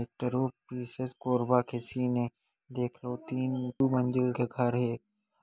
Collectorate परिसर कोरबा के scene ए देख लो तीन दू मंजिल के घर हे।